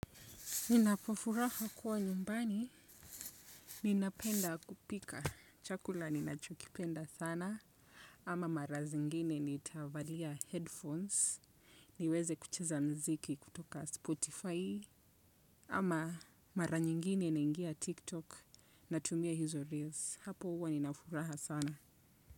Ninapofuraha kuwa nyumbani, ninapenda kupika chakula ninachokipenda sana, ama mara zingine nitavalia headphones, niweze kucheza mziki kutoka Spotify, ama mara nyingine naingia TikTok natumia hizo reels, hapo huwa ninafuraha sana.